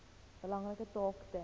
belangrike taak ten